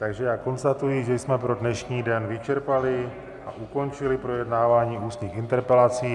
Takže já konstatuji, že jsme pro dnešní den vyčerpali a ukončili projednávání ústních interpelací.